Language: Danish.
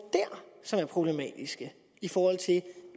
som er problematiske i forhold til